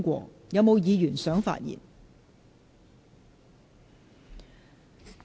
是否有議員想發言？